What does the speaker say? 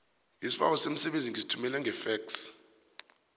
isibawo somsebenzi ngisithumele ngefexi